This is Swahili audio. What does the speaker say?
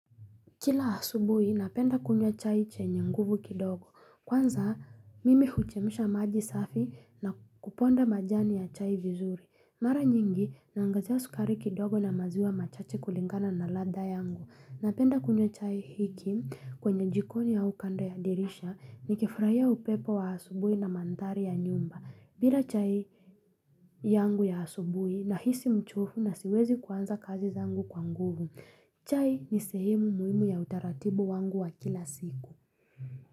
Kila asubuhi, napenda kunywa chai chenye nguvu kidogo. Kwanza, mimi huchemsha maji safi na kuponda majani ya chai vizuri. Mara nyingi, naangazia sukari kidogo na maziwa machache kulingana na ladha yangu. Napenda kunywa chai hiki kwenye jikoni au kando ya dirisha nikifurahia upepo wa asubuhi na manthari ya nyumba. Bila chai yangu ya asubuhi nahisi mchovu na siwezi kuanza kazi zangu kwa nguvu. Chai ni sehemu muhimu ya utaratibu wangu wa kila siku.